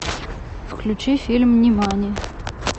включи фильм нимани